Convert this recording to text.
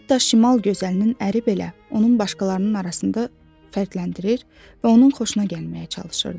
Hətta şimal gözəlinin əri belə onu başqalarının arasında fərqləndirir və onun xoşuna gəlməyə çalışırdı.